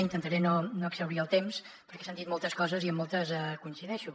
intentaré no exhaurir el temps perquè s’han dit moltes coses i amb moltes hi coincideixo